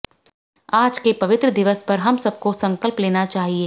आज के पवित्र दिवस पर हम सब को संकल्प लेना चाहिए